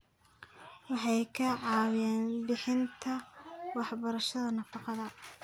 Waxay ka caawiyaan bixinta waxbarashada nafaqada.